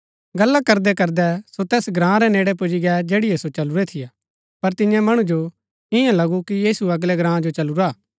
गल्ला करदैकरदै सो तैस ग्राँ रै नेड़ै पुजी गै जैठिओ सो चलुरै थियै पर तियां मणु जो ईयां लगु कि यीशु अगलै ग्राँ जो चलुरा हा